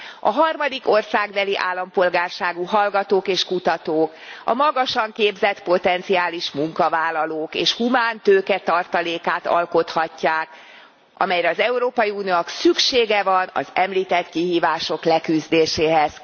A harmadik országbeli állampolgárságú hallgatók és kutatók a magasan képzett potenciális munkavállalók és humán tőke tartalékát alkothatják, amelyre az Európai Uniónak szüksége van az említett kihívások leküzdéséhez.